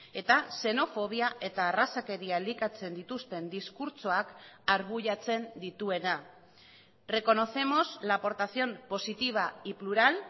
eta xenofobia eta arrazakeria elikatzen dituzten diskurtsoak arbuiatzen dituena reconocemos la aportación positiva y plural